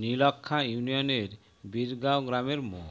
নীলক্ষ্যা ইউনিয়নের বীরগাঁও গ্রামের মো